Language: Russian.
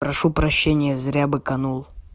прошу прощения зря угрожал